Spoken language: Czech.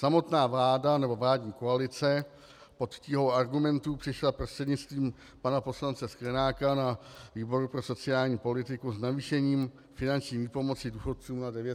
Samotná vláda nebo vládní koalice pod tíhou argumentů přišla prostřednictvím pana poslance Sklenáka na výboru pro sociální politiku s navýšením finanční výpomoci důchodcům na 900 korun.